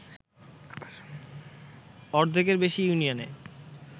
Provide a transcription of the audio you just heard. অর্ধেকের বেশি ইউনিয়নে